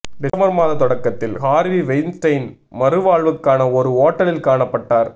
December மாத தொடக்கத்தில் Harvey Weinstein மறுவாழ்வுக்கான ஒரு ஓட்டலில் காணப்பட்டார்